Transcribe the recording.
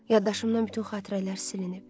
Yaddaşımdan bütün xatirələr silinib.